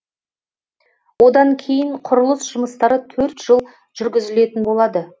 одан кейін құрылыс жұмыстары төрт жыл жүргізілетін болады